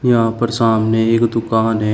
यहां पर सामने एक दुकान है।